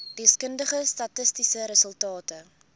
deskundige statistiese resultate